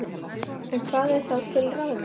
En hvað er þá til ráða?